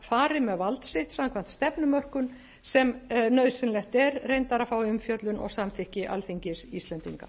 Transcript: fari með vald sitt samkvæmt stefnumörkun sem nauðsynlegt er reyndar að að fái umfjöllun og samþykki alþingis íslendinga